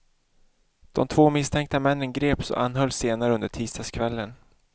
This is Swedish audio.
De två misstänkta männen greps och anhölls senare under tisdagskvällen.